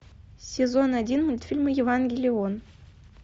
сезон один мультфильм евангелион